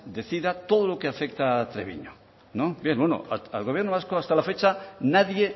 decida todo lo que afecta a treviño al gobierno vasco hasta la fecha nadie